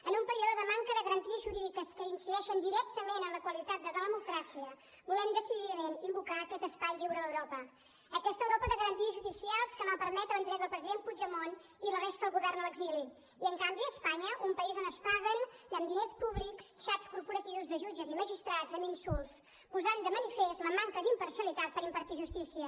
en un període de manca de garanties jurídiques que incideixen directament en la qualitat de la democràcia volem decididament invocar aquest espai lliure d’europa aquesta europa de garanties judicials que no va permetre l’entrega del president puigdemont i la resta del govern a l’exili i en canvi a espanya un país on es paguen amb diners públics xats corporatius de jutges i magistrats amb insults posant de manifest la manca d’imparcialitat per impartir justícia